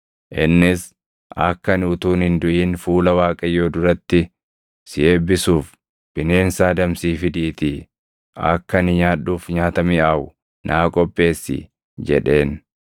innis, ‘Akka ani utuun hin duʼin fuula Waaqayyoo duratti si eebbisuuf bineensa adamsii fidiitii akka ani nyaadhuuf nyaata miʼaawu naa qopheessi’ jedheen.